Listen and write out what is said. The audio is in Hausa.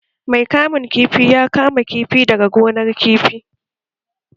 Mai kamun kifi ya kama kifi daga gonar kifi